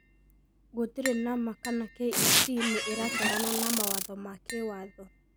Gũtirĩ na ma kana KEC nĩ ĩratwarana na mawatho ma kĩwatho